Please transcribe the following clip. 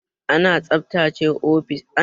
Ana tsaftace ofis ne ta hanyar share shi kullun.